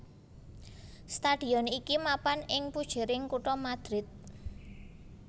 Stadion iki mapan ing pujering kutha Madrid